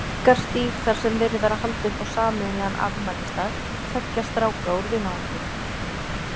Bjarkarstíg þar sem verið var að halda upp á sameiginlegan afmælisdag tveggja stráka úr vinahópnum.